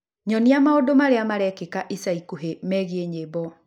Nyonia maũndũ marĩa marekĩka ica ikuhĩ megiĩ nyĩmbo